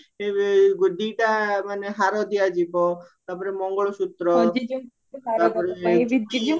ଦିଟା ମାନେ ହାର ଦିଆଯିବ ତାପରେ ମଙ୍ଗଳସୂତ୍ର